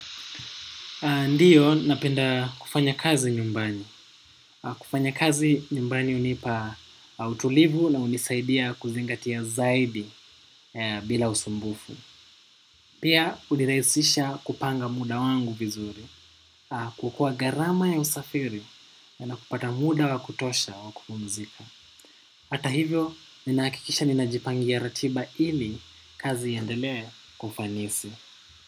Ndiyo, napenda kufanya kazi nyumbani. Kufanya kazi nyumbani hunipa utulivu na hunisaidia kuzingatia zaidi bila usumbufu. Pia, hunirahisisha kupanga muda wangu vizuri. Kuokoa gharama ya usafiri na kupata muda wa kutosha wa kupumzika. Hata hivyo, ninahakikisha ninajipangia ratiba ili kazi iendelee kwa ufanisi.